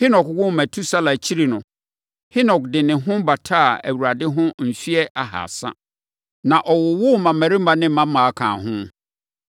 Henok woo Metusela akyiri no, Henok de ne ho bataa Awurade ho mfeɛ ahasa, na ɔwowoo mmammarima ne mmammaa kaa ho.